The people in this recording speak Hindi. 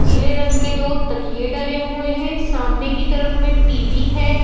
पीले रंग के दो तकिये डले हुए हैं सामने की तरफ में टी_वी है।